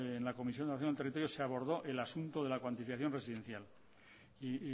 en la comisión de ordenación del territorio se abordó el asunto de la cuantificación residencial y